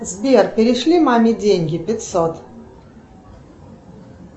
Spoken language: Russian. сбер перешли маме деньги пятьсот